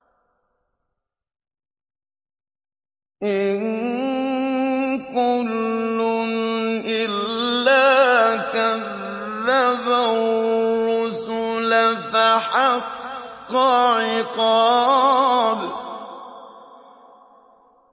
إِن كُلٌّ إِلَّا كَذَّبَ الرُّسُلَ فَحَقَّ عِقَابِ